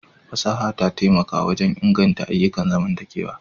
Fasaha ta taimaka wajen inganta ayyukan zamantakewa.